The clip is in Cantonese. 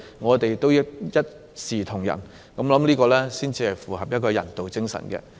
我們應一視同仁對待，這樣才符合人道精神。